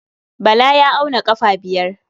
Bala ya auna ƙafa biyar.